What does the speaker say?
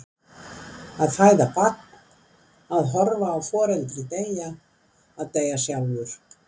Að fæða barn, að horfa á foreldri deyja, að deyja sjálfur.